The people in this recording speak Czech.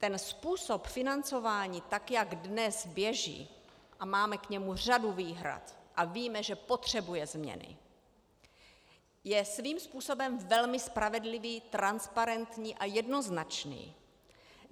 Ten způsob financování, tak jak dnes běží, a máme k němu řadu výhrad a víme, že potřebuje změny, je svým způsobem velmi spravedlivý, transparentní a jednoznačný.